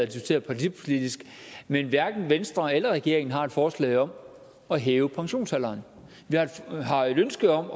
det partipolitisk men hverken venstre eller regeringen har et forslag om at hæve pensionsalderen vi har et ønske om